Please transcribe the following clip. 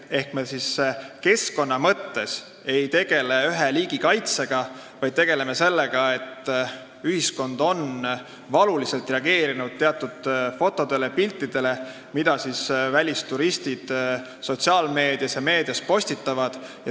Ehk me keskkonna mõttes ei tegele ühe liigi kaitsega, vaid ühiskond on valuliselt reageerinud teatud fotodele, mida välisturistid sotsiaalmeedias ja meedias avaldavad.